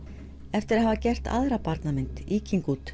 eftir að hafa gert aðra barnamynd